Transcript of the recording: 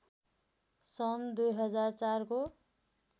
सन् २००४ को